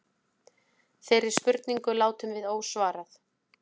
Þeirri spurningu látum við ósvarað.